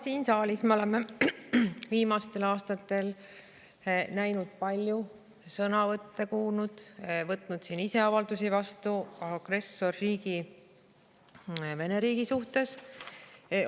Siin saalis me oleme viimastel aastatel näinud palju, kuulnud sõnavõtte ja võtnud vastu avaldusi agressorriigi Venemaa kohta.